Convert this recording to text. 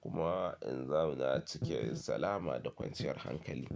kuma in zauna cikin salama da kwanciyar hankali.